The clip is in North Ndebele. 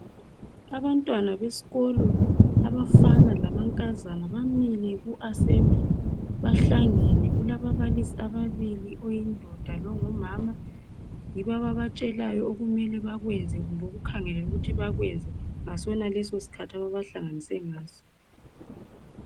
Abantwana besikolo abafana lamankazana bamile kuasebhuli, bahlangene, kulababalisi ababili oyindoda longumama, yibo ababatshelayo okumele bakwenze, kumbe bekukhangelele ukuthi bakwenze ngasona leso ngesikhathi ababahlanganise ngaso.